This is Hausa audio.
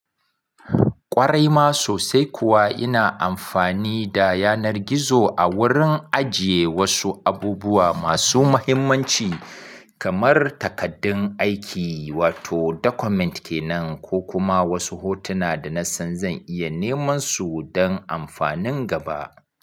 Ƙwarai ma sosai kuwa ina amfani da yanar gizo a wurin ajiye wasu abubuwa masu muhimmanci kamar takaddun aiki wato document kenan ko kuma wasu hotuna da na san zan iya neman su don amfanin gaba.